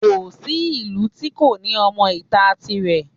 Kò sí ìlú tí kò ní ọmọ ìta tirẹ̀